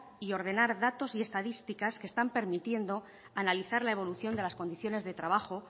y ordenador datos y estadísticas que están permitiendo analizar la evolución de las condiciones de trabajo